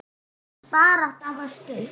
Hans barátta var stutt.